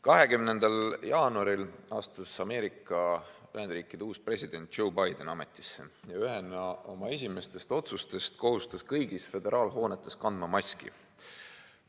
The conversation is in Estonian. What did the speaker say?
20. jaanuaril astus Ameerika Ühendriikide uus president Joe Biden ametisse ja ühena oma esimestest otsustest kohustas kõigis föderaalhoonetes kandma maski.